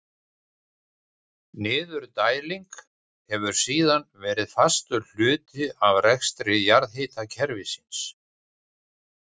Niðurdæling hefur síðan verið fastur hluti af rekstri jarðhitakerfisins.